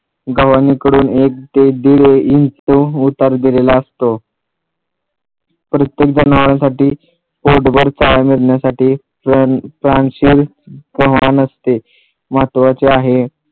गव्हाणीकडून एक ते दीड इंच उतार दिलेला असतो प्रत्येक जनावरांसाठी पोटभर चारा देण्यासाठी किंवा असते महत्वाचे आहे